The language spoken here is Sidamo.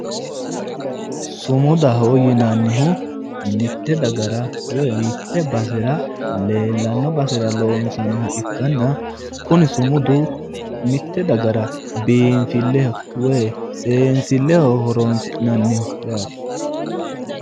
Sumudaho yinannihu mitte dagara woy mitte basera leelano basera loosaniha ikkanna kunni sumudu mitte dagara biifilleho woy seesilleho horoosi'naniho yaatte.